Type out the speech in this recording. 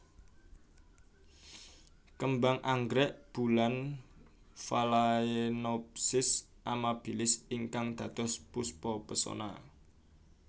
Kembang anggrek bulan Phalaenopsis amabilis ingkang dados Puspa Pesona